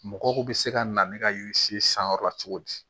Mɔgɔw bɛ se ka na ne ka yiri si sanyɔrɔ la cogo di